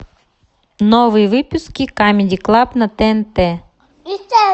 новые выпуски камеди клаб на тнт